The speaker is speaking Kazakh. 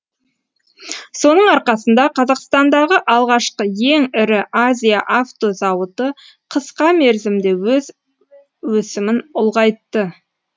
соның арқасында қазақстандағы алғашқы ең ірі азия авто зауыты қысқа мерзімде өз өсімін ұлғайтты